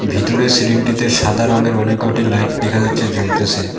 ভিতরের সিলিংটিতে সাদা রঙ্গের অনেক কটি লাইট দেখা যাচ্ছে জ্বলতেসে।